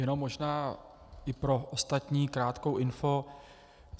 Jenom možná i pro ostatní krátkou info.